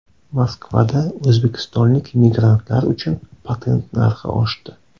Moskvada o‘zbekistonlik migrantlar uchun patent narxi oshdi.